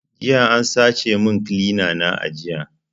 Jiya an sace min kilina a aji